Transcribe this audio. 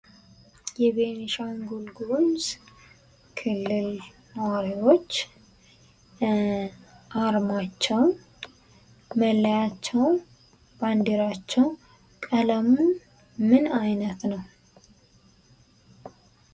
የቤኒሻንጉል ጉሙዝ ክልል ኑዋሪዎች አርማቸው፣ መለያቸው፣ ባንዲራቸው ቀለሙ ምን አይነት ነው?